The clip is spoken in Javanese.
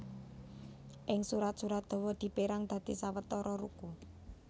Ing surat surat dawa dipérang dadi sawetara ruku